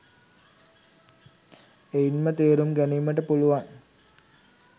එයින්ම තේරුම් ගැනීමට පුළුවන්